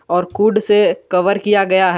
और कूट से कवर किया गया है।